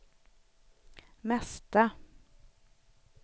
mesta